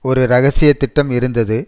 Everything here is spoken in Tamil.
ஒரு இரகசிய திட்டம் இருந்தது